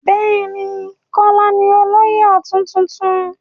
Bẹ́ẹ̀ ni, Kọ́lá ní olóyè ọ̀tún tuntun.